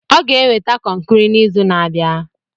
Ọ ga-eweta kọnkri n'izu na-abịa.